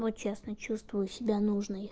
вот честно чувствую себя нужной